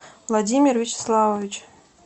владимир вячеславович